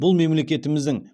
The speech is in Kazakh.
бұл мемлекетіміздің